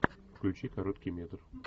включи короткий метр